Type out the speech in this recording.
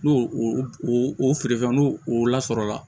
N'o o o feerefɛn n'o o lasɔrɔ